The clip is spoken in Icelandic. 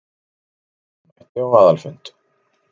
Einn mætti á aðalfund